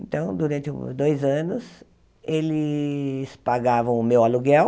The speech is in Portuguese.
Então, durante dois anos, eles pagavam o meu aluguel,